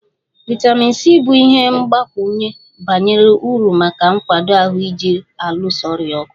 Vitamin C bụ ihe mgbakwunye bara uru maka nkwado ahụ ji alụso ọrịa ọgụ